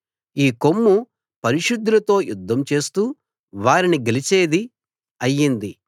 ఈ కొమ్ము పరిశుద్ధులతో యుద్ధం చేస్తూ వారిని గెలిచేది అయింది